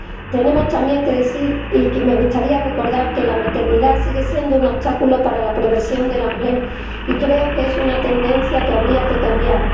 También tenemos que decir, y me gustaría recordar, que la maternidad sigue siendo un obstáculo para la progresión de la mujer y creo que es una tendencia que habría que cambiar.